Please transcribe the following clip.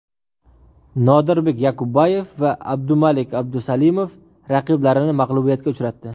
Nodirbek Yoqubboyev va Abdumalik Abdusalimov raqiblarini mag‘lubiyatga uchratdi.